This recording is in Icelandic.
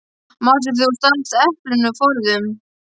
Manstu þegar þú stalst eplinu forðum?